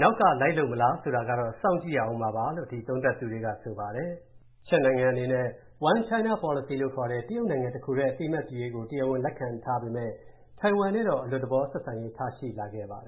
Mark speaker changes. Speaker 1: နောက်ကလိုက်လုပ်လာမလား ဆိုတာတော့ စောင့်ကြည့်ရဦးမယ်လို့ ဒီသုံးသပ်သူတွေက ဆိုပါတယ်။ ချက်နိုင်ငံအနေနဲ့ One China Policy လို့ခေါ်တဲ့ တရုတ်နိုင်ငံတခုပဲ အသိအမှတ်ပြုရေးကို တရားဝင် လက်ခံထားပေမယ့် ထိုင်ဝမ်နဲ့တော့ အလွတ်သဘော ဆက်ဆံရေး ထားရှိလာ
Speaker 2: ခဲ့ပါတယ်